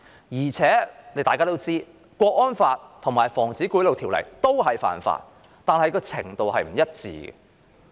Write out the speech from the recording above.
無論是觸犯《香港國安法》還是《防止賄賂條例》，兩者均屬犯法，但嚴重程度卻不一。